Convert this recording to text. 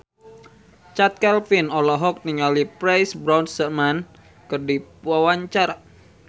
Chand Kelvin olohok ningali Pierce Brosnan keur diwawancara